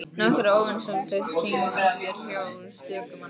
Nokkrar óvinsælar kindur hjá stöku manni.